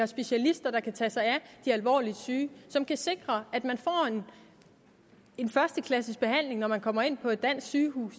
specialister der kan tage sig af de alvorligt syge og som kan sikre at man får en førsteklasses behandling når man kommer ind på et dansk sygehus